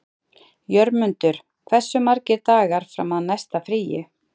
Jörmundur, hversu margir dagar fram að næsta fríi?